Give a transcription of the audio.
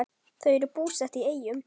Þau eru búsett í Eyjum.